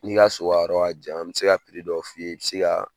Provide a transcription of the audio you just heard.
N'i y'a so ka yɔrɔ ka jan n bɛ se ka dɔ f'i ye bɛ se ka